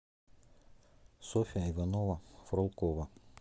софья иванова фролкова